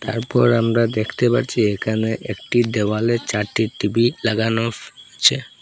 এরপর আমরা দেখতে পারছি এখানে একটি দেওয়ালে চারটি টি_ভি লাগানো ফু ছে--